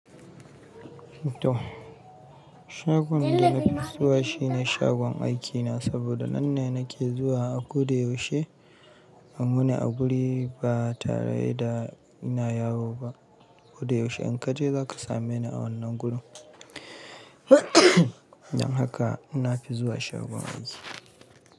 Shagon da na fi zuwa shi ne shagon aikina saboda nan ne nake zuwa a koda yaushe. Kamune a guri ba tare da ina yawo ba. Koda yaushe in ka je za ka same ni a wannan gurin. Don haka na fi zuwa shagon aiki.